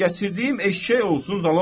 Gətirdiyim eşşək olsun zalaq.